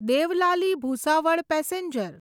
Deolali Bhusawal passenger